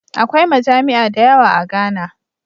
Akwai majami'a dayawa a Ghana